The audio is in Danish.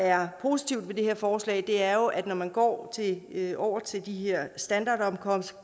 er positivt ved det her forslag er jo at det når man går over til de her standardomkostninger